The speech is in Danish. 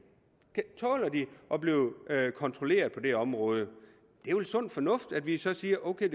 at blive kontrolleret på det område det er vel sund fornuft at vi så siger ok